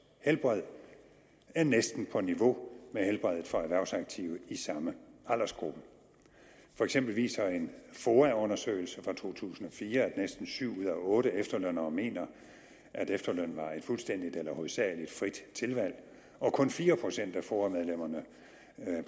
helbred er næsten på niveau med helbredet for erhvervsaktive i samme aldersgruppe for eksempel viste en foa undersøgelse fra to tusind og fire at næsten syv ud af otte efterlønnere mente at efterlønnen var et fuldstændig eller hovedsagelig frit tilvalg og kun fire procent af foa medlemmerne